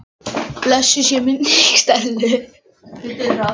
Blessuð sé minning Stellu.